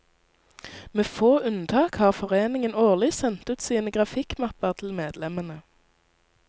Med få unntak har foreningen årlig sendt ut sine grafikkmapper til medlemmene.